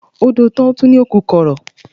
A dó ọ tán, o ni o ku kọrọ